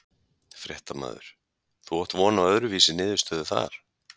Fréttamaður: Þú átt von á öðru vísi niðurstöðu þar?